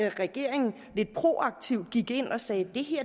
at regeringen lidt proaktivt gik ind og sagde at det